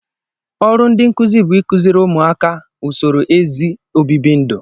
Ọrụ ndị nkụzi bu ịkụziri ụmụaka a usoro ezi obibi ndụ